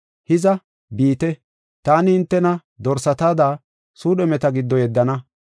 Hiza, biite, taani hintena dorsatada suudhumeta giddo yeddana.